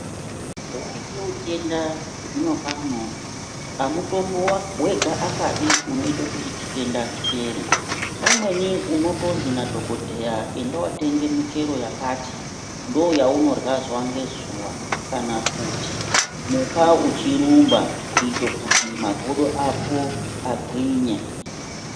Waite utenda zvinopa anhu amutombo wega akade unoite kuti chitenda chipere .Pamweni unotonzi madhokodheya enda unootenge michero yakati ndooyaunorya nayo zuwa ngezuwa kana kuti muka uchigijima kuita kuti makodo ako agwinye .